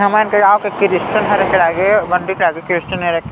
हमर गिराओ के कृस्टन हार के आगे बन दे जेदे किरस्तान र--